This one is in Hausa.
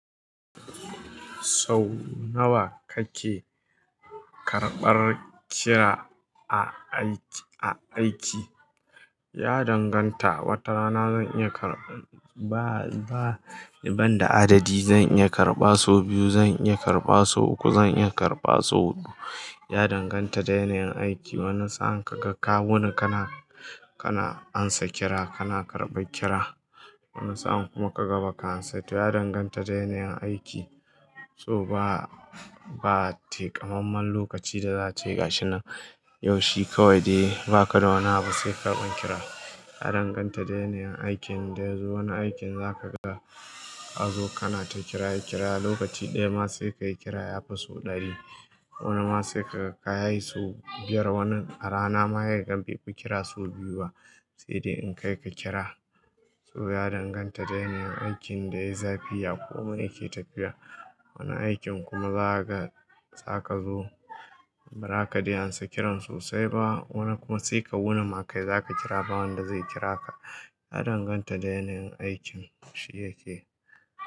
Sau nawa kake karɓar kira a aiki? Ya danganta, wata rana zan iya karɓa, ba, ba daban da adadi. Zan iya karɓa sau biyu, zan iya karɓa sau uku, zan iya karɓa sau huɗu. Ya danganta da yanayin aiki. Wani sa'a ka ga ka wuni kana, kana ansa kira, kana karɓa kira. Wani sa'a kuma ka ga ba ka ansa ta. Ya danganta da yanayin aiki. To ba, ba takamamman lokaci da zata yi gashi nan. Yaushe kawai dai ba ka da wani abu sai karɓan kira. Ya danganta da yanayin aikin da wani aikin za ka ga ka zo kana ta kira ya kira. Lokaci ɗaya ma sai ka yi kira ya fi sau ɗari. Wani ma sai ka kai su biyar. Wani a rana ma ya yagan bai ku kira sau biyu ba, sai dai in kai ka kira. To ya danganta da yanayin aikin da yayi zafi ya komi yake tafiya. Wani aikin kuma za ka ga za ka zo ba raka dai ansa kiran sosai ba. Wani kuma sai ka wuni ma kai za ka kira ba wanda zai kira ka. Ya danganta da yanayin aikin shi yake.